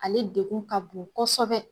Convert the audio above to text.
Ale degun ka bon kɔsɔbɛ